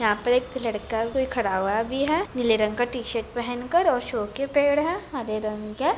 यहाँ पे एक लड़का कोई खड़ा हुआ भी है नीले रंग का टी-शर्ट पहन कर और सो के पेड़ है हरे रंग के।